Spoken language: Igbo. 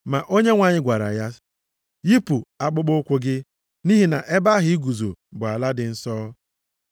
“Ma Onyenwe anyị gwara ya, ‘Yipụ akpụkpọụkwụ gị. Nʼihi na ebe ahụ i guzo bụ ala dị nsọ.